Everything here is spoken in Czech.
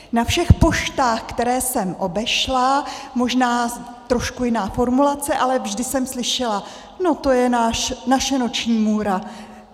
Na všech poštách, které jsem obešla, možná trošku jiná formulace, ale vždy jsem slyšela: No to je naše noční můra.